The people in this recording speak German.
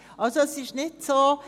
Also: Es ist nicht so;